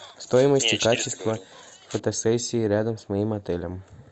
стоимость и качество фотосессии рядом с моим отелем